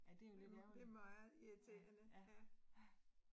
Ja det jo lidt ærgerligt. Ja ja ja